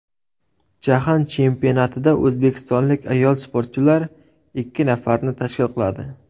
Jahon chempionatida o‘zbekistonlik ayol sportchilar ikki nafarni tashkil qiladi.